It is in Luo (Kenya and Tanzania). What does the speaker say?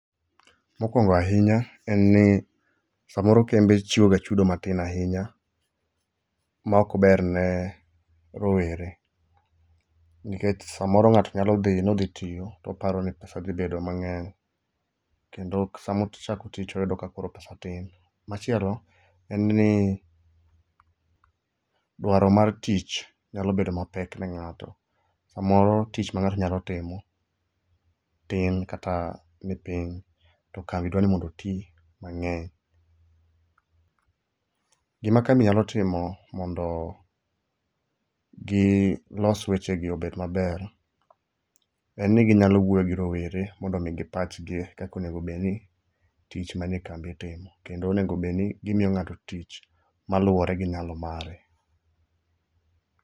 Mokwongo ahinya en ni samoro kembe chiwoga chudo matin ahinya maok ber ne rowere. Nikech samoro ng'ato nyalo dhi ni odhi tiyo toparo ni pesa dhi bedo mang'eny kendo samochako tich toyudo ka koro pesa tin. Machielo en ni dwaro mar tich nyalo bedo mapek ne ng'ato. Samoro tich mang'ato nyalo timo tin kata nipiny to kambi dwa ni mondo oti mang'eny. Gima kambi nyalo timo mondo gilos wechegi obed maber en ni ginyalo wuoyo gi rowere mondo omigi pachgi kaka onego bedni tich mane kambi itimo kendo onego obed ni imiyo ng'ato tich moluwore gi nyalo mare.